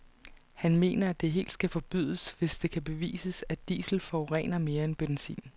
Han mener at det helt skal forbydes, hvis det kan bevises, at diesel forurener mere end benzin.